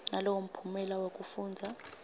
nalowo mphumela wekufundza